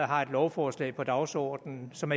har et lovforslag på dagsordenen som